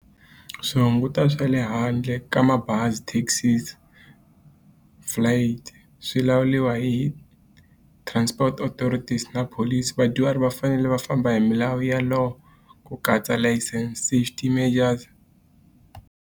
Swi hunguta swa le handle ka mabazi taxis flight swi lawuriwa hi transport authorities na police. Vadyuhari va fanele va famba hi milawu ku katsa license safety measures.